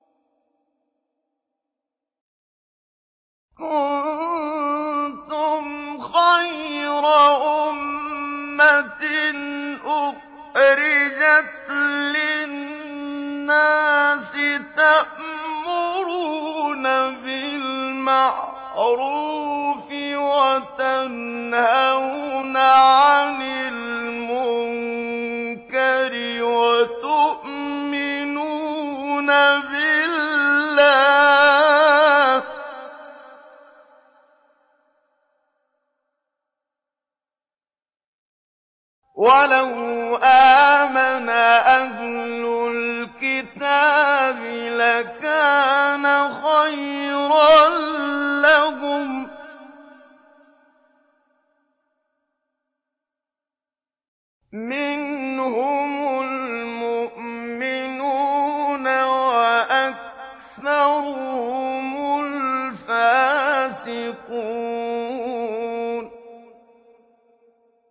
كُنتُمْ خَيْرَ أُمَّةٍ أُخْرِجَتْ لِلنَّاسِ تَأْمُرُونَ بِالْمَعْرُوفِ وَتَنْهَوْنَ عَنِ الْمُنكَرِ وَتُؤْمِنُونَ بِاللَّهِ ۗ وَلَوْ آمَنَ أَهْلُ الْكِتَابِ لَكَانَ خَيْرًا لَّهُم ۚ مِّنْهُمُ الْمُؤْمِنُونَ وَأَكْثَرُهُمُ الْفَاسِقُونَ